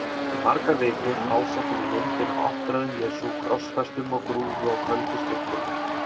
Í margar vikur ásótti mig myndin af áttræðum Jesú krossfestum á grúfu á köldu steingólfi.